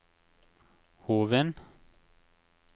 Hovin